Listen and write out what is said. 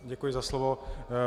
Děkuji za slovo.